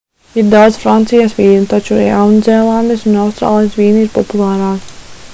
ir daudz francijas vīnu taču jaunzēlandes un austrālijas vīni ir populārāki